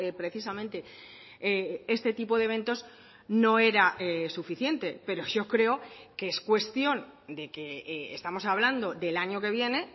precisamente este tipo de eventos no era suficiente pero yo creo que es cuestión de que estamos hablando del año que viene